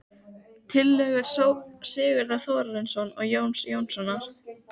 Tillögur Sigurðar Þórarinssonar og Jóns Jónssonar